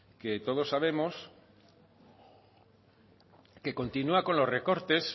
que todos sabemos que continúa con los recortes